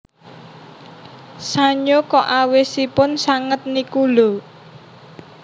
Sanyo kok awisipun sanget niku lho